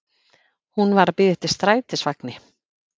Hún var að bíða eftir strætisvagni.